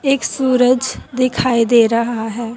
एक सूरज दिखाई दे रहा है।